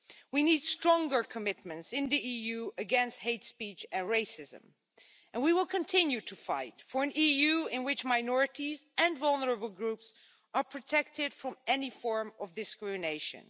We need stronger commitments in the EU against hate speech and racism, and we will continue to fight for an EU in which minorities and vulnerable groups are protected from any form of discrimination.